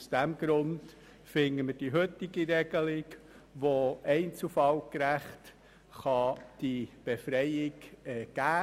Deshalb finden wir die heutige Regelung, aufgrund welcher diese Befreiung einzelfallgerecht gewährt werden kann, sachlich richtig.